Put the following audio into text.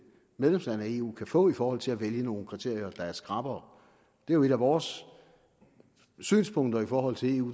medlemsland af eu kan få i forhold til at vælge nogle kriterier der er skrappere det er jo et af vores synspunkter i forhold til eu